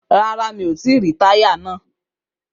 Rárá, mi ò tí í ríi táyà náà.